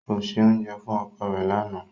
Ko se ounjẹ fun oko re lana.